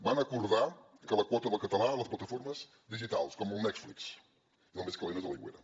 van acordar la quota del català a les plataformes digitals com el netflix i el més calent és a l’aigüera